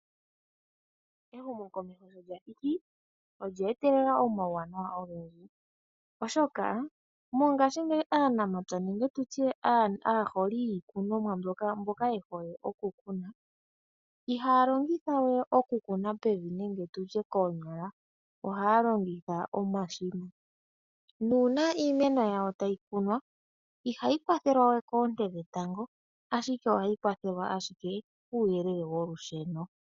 Ehumokomeho sholyathiki olye etelela omauwanawa ogendji, oshoka mongashingeyi aanamapya nenge tutye aaholi yiikunonwa mbyoka yehole okukuna ihaya longithawe okukuna pevi nenge nditye koonyala, ohaya longitha omashina . Uuna iimeno yawo tayi kunwa , ihayi kwathelwawe koonte dhetango ashike ohayi kwathelwa ashike kuuyelele wolusheno.